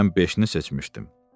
Mən beşini seçmişdim.